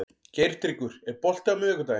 Geirtryggur, er bolti á miðvikudaginn?